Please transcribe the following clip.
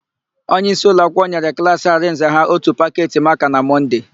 Onyeisi ụlọakwụkwọ nyere klaasị Arịnze ha ótù paketị makaa na Mọnde.